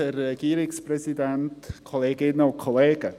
Kommissionssprecher der FiKo-Mehrheit.